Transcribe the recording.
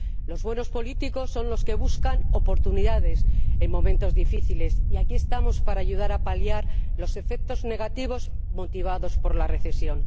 Los buenos políticos son los que buscan oportunidades en momentos difíciles y aquí estamos para ayudar a paliar los efectos negativos motivados por la recesión.